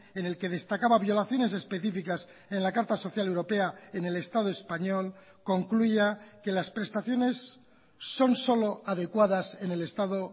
en el que destacaba violaciones específicas en la carta social europea en el estado español concluya que las prestaciones son solo adecuadas en el estado